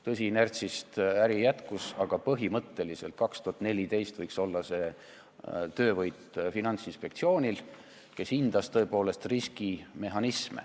Tõsi, inertsist äri jätkus, aga põhimõtteliselt saavutas Finantsinspektsioon, kes hindas riskimehhanisme, 2014. aastal töövõidu.